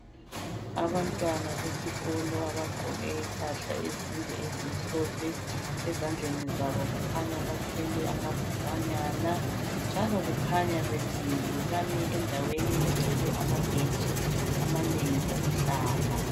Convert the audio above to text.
Abantwana besikolo abagqoke impahla ezinde ezimhlophe ezandleni zabo kukhanya bathwele amabhukanyana njalo kukhanya bemile. Bamile endaweni egcwele amabhentshi amanengi okuhlala.